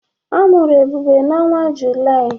A mụrụ Ebube n'ọnwa Julaị.